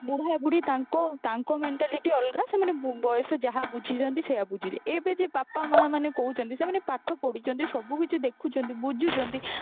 ବୁଢା ବୁଢୀ ତାଙ୍କ ତାଙ୍କ mentality ଅଲଗା ସେମାନେ ବୟସ ଯାହା ବୁଝିଛନ୍ତି ସେଇଆ ବୁଝିବେ ଏବେ ଯିଏ ବାପା ମାଆ ମାନେ କହୁଛନ୍ତି ସେମାନେ ପାଠ ପଢିଛନ୍ତି ସବୁକିଛି ଦେଖୁଛନ୍ତି ବୁଝୁଛନ୍ତି